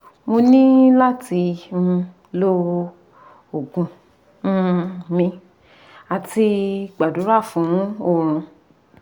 mo ni lati um lo ogun um mi ati gbadura fun orun